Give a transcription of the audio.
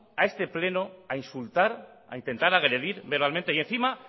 a este pleno a insultar a intentar agredir verbalmente y encima